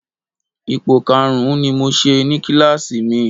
Ipò karùn-ún ni mo ṣe ní kíláàsì mi